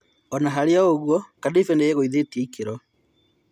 Ona-harĩoũguo, Kadife nĩĩgũĩthĩtie ikĩro.